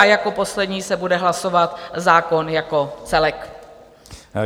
A jako poslední se bude hlasovat zákon jako celek.